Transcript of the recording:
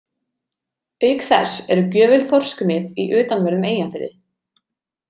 Auk þess eru gjöful þorskmið í utanverðum Eyjafirði.